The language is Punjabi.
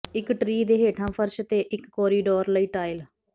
ਇੱਕ ਟ੍ਰੀ ਦੇ ਹੇਠਾਂ ਫ਼ਰਸ਼ ਤੇ ਇੱਕ ਕੋਰੀਡੋਰ ਲਈ ਟਾਇਲ